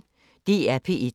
DR P1